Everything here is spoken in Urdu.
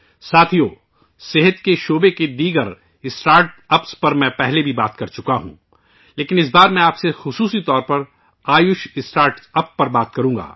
ساتھیو ، میں نے صحت کے شعبے کے دوسرے اسٹارٹ اپس پر پہلے بھی کئی بار بات کی ہے لیکن اس بار میں آپ سے خاص طور پر آیوش اسٹارٹ اپس پر بات کروں گا